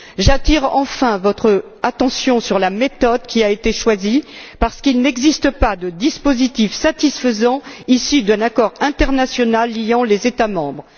J'attire enfin votre attention sur la méthode qui a été choisie parce qu'il n'existe pas de dispositif satisfaisant, ici, prévoyant un accord international liant les États membres.